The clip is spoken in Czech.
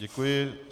Děkuji.